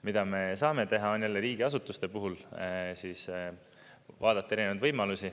Mida me saame teha, on jälle riigiasutuste puhul vaadata erinevaid võimalusi.